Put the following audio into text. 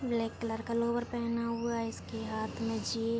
black colour का lower पहना हुआ हैइसके हाथ में जी--